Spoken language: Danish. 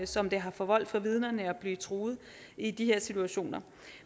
som det har forvoldt vidnerne at blive truet i de her situationer